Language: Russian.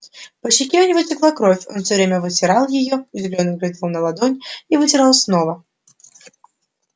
по щеке у него текла кровь он всё время вытирал её удивлённо глядел на ладонь и вытирал снова